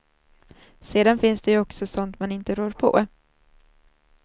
Sedan finns det ju också sånt man inte rår på.